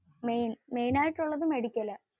അതെ. main ആയിട്ടു അല്ലാതെ മെഡിക്കൽ ആണ്.